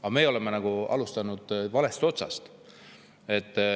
Aga me oleme alustanud valest otsast.